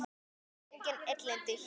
Það eru engin illindi hér.